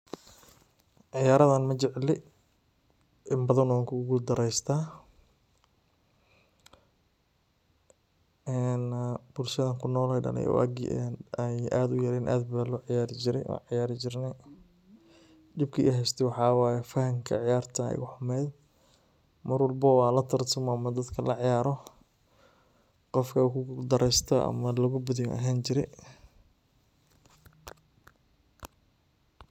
Ciyaaradan majecli, in badan wanku gul dareeysta, en bulshada anku noley waagi an adka uraa aad ba loo ciyaari jire, wan ciyaari jirne dhibki ihayste waxa way fahamka ciyaarta aya igu xumeyd, Mar walbobo an lataratamo ama an dadka la ciyaaro qofka kugul dareysto ama laga baadiyo an ahaani jire